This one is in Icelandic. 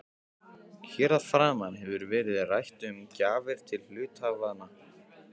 Hér að framan hefur verið rætt um gjafir til hluthafanna.